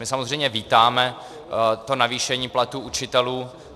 My samozřejmě vítáme to navýšení platů učitelů.